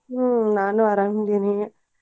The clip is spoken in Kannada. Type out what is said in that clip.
ಹ್ಮ್ ನಾನು ಅರಾಮ್ ಅದೇನಿ.